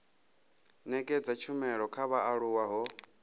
nekedza tshumelo kha vhaaluwa ho